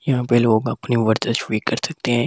यहां पे लोग अपनी कर सकते हैं।